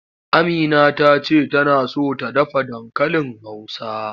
Amina ta ce tana so ta dafa dankalin Hausa.